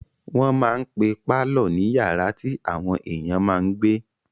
Wọ́n máa n pe pálọ̀ ní yàrá tí àwọn èèyàn máa n gbé